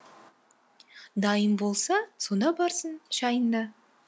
дайын болса сонда барсын шайың да